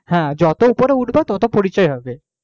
হ্যাঁ যত উপরে উঠবে তত পরিচয় হবে,